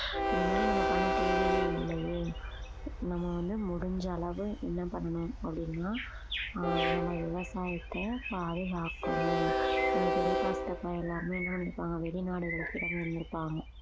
இது மாதிரி நம்ம பண்ண தேவையே இல்லையே நம்ம வந்து முடிஞ்ச அளவு என்ன பண்ணணும் அப்படின்னா ஆஹ் நம்ம விவாசாயத்த பாதுகாக்கணும் நம்ம பெரியப்பா சித்தப்பா எல்லாருமே என்ன நினைபாங்க வெளிநாடுகள்ல இருந்து இருப்பாங்க